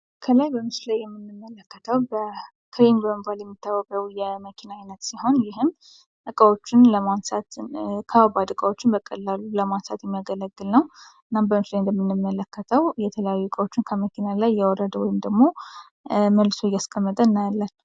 ከላይ በምስሉ ላይ የምንመለከተው ክሬን በመባል የሚታወቀውን የመኪና አይነት ሲሆን ይህም ከበባድ እቃወችን በቀላሉ ለማንሳት የሚያገለግል ነው። አሁን በምስሉ ላይ እንደምንመለከተው ከበባድ እቃወችን ከመኪና ላይ እያወረደ ወይንም ደግሞ መልሶ እያስቀመጠ እንመለከታለን።